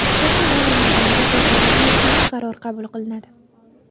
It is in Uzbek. Yaqin davr mobaynida bu borada yakuniy qaror qabul qilinadi.